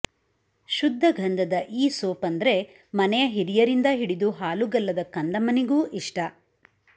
ಶುದ್ಧ ಗಂಧದ ಈ ಸೋಪ್ ಅಂದ್ರೆ ಮನೆಯ ಹಿರಿಯರಿಂದ ಹಿಡಿದು ಹಾಲುಗಲ್ಲದ ಕಂದಮ್ಮನಿಗೂ ಇಷ್ಟ